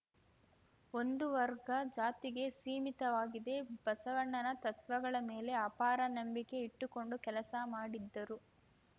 ಒಂದು ವರ್ಗ ಜಾತಿಗೆ ಸೀಮಿತವಾಗಿದೆ ಬಸವಣ್ಣನ ತತ್ವಗಳ ಮೇಲೆ ಅಪಾರ ನಂಬಿಕೆ ಇಟ್ಟುಕೊಂಡು ಕೆಲಸ ಮಾಡಿದ್ದರು